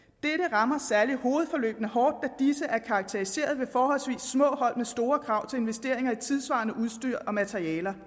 rammer særlig hovedforløbene hårdt da disse er karakteriseret ved forholdsvis små hold med store krav til investeringer i tidssvarende udstyr og materialer